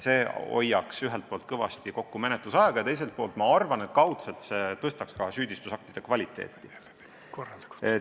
See hoiaks ühelt poolt menetlusaega kõvasti kokku ja teiselt poolt tõstaks süüdistusaktide kvaliteeti.